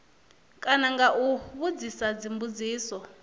kana nga u vhudzisa dzimbudziso